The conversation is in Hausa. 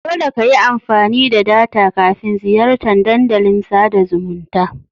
Dole kayi amfani da data kafin ziyartan Dandalin sada zumunta.